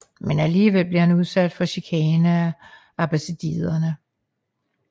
Men alligevel blev han udsat for chikane af abbasiderne